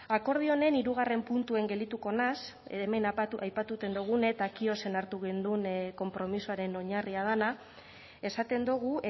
akordio honen hirugarrena puntuan geldituko naiz hemen aipatzen genuen hartu genuen konpromisoaren oinarria dena esaten dugu